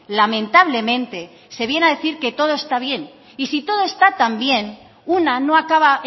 lamentablemente se viene a decir que todo está bien y si todo esta tan bien una no acaba